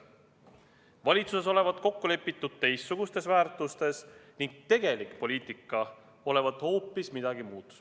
Valitsuses olevat kokku lepitud teistsugustes väärtustes ning tegelik poliitika olevat hoopis midagi muud.